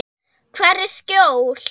Hvar er skjól?